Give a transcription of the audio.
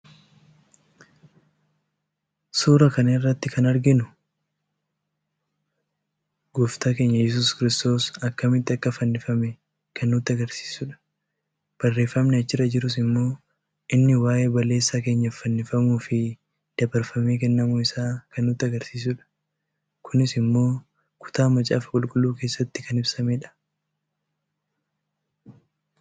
suuraa kana irratti kan arginu kun gooftaan keenya Iyyesuus kiristoos akkamitti akka fannifame kan nutti agarsiisudha. Barreffamni achirra jirus immoo inni waa'ee balleessaa keenyaaf fannifamuufi dabarfamee kennamuu isaa kan nutti agarsiisudha. kunis immoo kutaa Macaafa Qulqulluu keessatti kan ibsamedha.